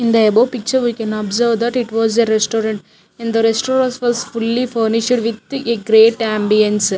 In the above picture we can observe that it was a restaurant in the restauras was fully furnished with a great ambiance.